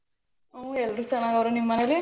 ಹೂ ಎಲ್ರೂ ಚೆನ್ನಾಗವ್ರೆ ನಿಮ್ಮನೇಲಿ?